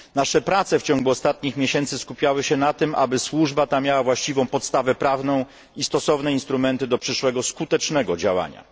Nasze prace w ciągu ostatnich miesięcy skupiały się na tym, aby służba ta miała właściwą podstawę prawną i stosowne instrumenty do przyszłego skutecznego działania.